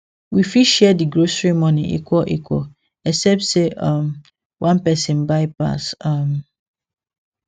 we fit share di grocery money equal equal except say um one person buy pass um